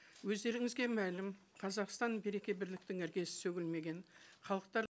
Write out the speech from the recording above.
өздеріңізге мәлім қазақстан береке бірліктің іргесі сөгілмеген халықтар